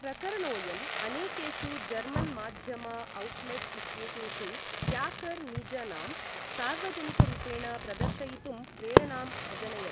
प्रकरणोयम् अनेकेषु जर्मन् माध्यम औट्लेट् इत्येतेषु ह्याकर् निजनाम सार्वजनिकरूपेण प्रदर्शयितुं प्रेरणाम् अजनयत्।